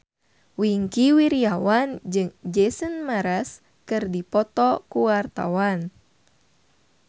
Wingky Wiryawan jeung Jason Mraz keur dipoto ku wartawan